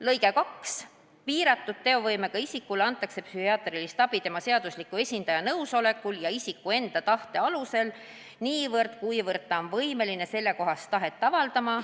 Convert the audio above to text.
" Lõige 2: "Piiratud teovõimega isikule antakse psühhiaatrilist abi tema seadusliku esindaja nõusolekul ja isiku enda tahte alusel niivõrd, kuivõrd ta on võimeline sellekohast tahet avaldama.